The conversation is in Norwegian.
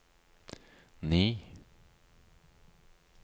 ni